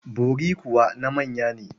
Bori kuwa na manya ne.